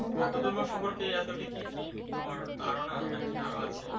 বুদ্ধ ধর্ম সম্পর্কে এতটুকুই কি তোমার ধারনা নাকি আরো আছে?